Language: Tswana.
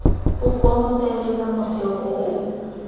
o konotelela motheo o o